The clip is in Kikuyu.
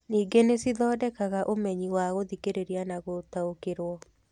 Ningĩ nĩ cithondekaga ũmenyi wa gũthikĩrĩria na gũtaũkĩrũo.